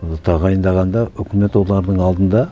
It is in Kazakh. тағайындағанда өкімет олардың алдында